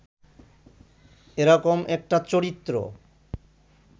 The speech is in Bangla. এরকম একটা চরিত্র